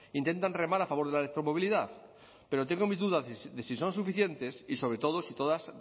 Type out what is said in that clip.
intentan remar a favor de la electromovilidad pero tengo mis dudas de si son suficientes y sobre todo si todas